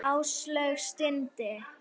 Áslaug stundi.